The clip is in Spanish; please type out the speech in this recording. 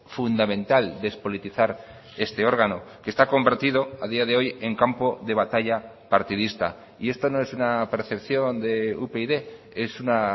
fundamental despolitizar este órgano que está convertido a día de hoy en campo de batalla partidista y esto no es una percepción de upyd es una